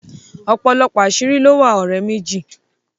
òpòlopò aṣiri ló wà òré méjì.